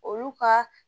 Olu ka